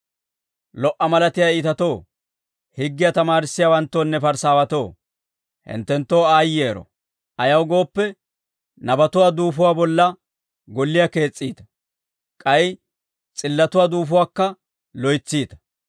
«Lo"a malatiyaa iitatoo, higgiyaa tamaarissiyaawanttoonne Parisaawatoo, hinttenttoo aayyero. Ayaw gooppe, nabatuwaa duufuwaa bolla golliyaa kees's'iita; k'ay s'illatuwaa duufuwaakka loytsiita.